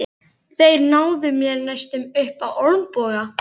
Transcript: Þeir náðu mér næstum upp á olnboga.